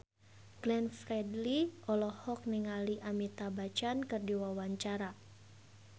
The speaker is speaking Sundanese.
Glenn Fredly olohok ningali Amitabh Bachchan keur diwawancara